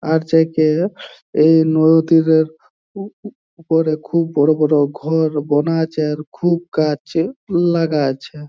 আর্চাকে এই নদীরে উ উপরে খুব বড় বড় ঘর বোনা আছে খুব কাছে ফুল লাগায়েছে।